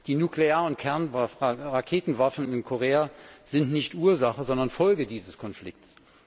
Die nuklearen Raketenwaffen in Korea sind nicht Ursache, sondern Folge dieses Konflikts.